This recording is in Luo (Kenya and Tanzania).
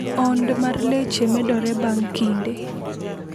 Ond mar leche medore bang’ kinde.